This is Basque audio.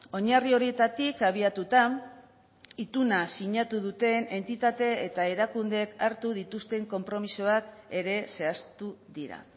oinarri horietatik abiatuta ituna sinatu duten entitate eta erakundeek hartu dituzten konpromisoak ere zehaztu dira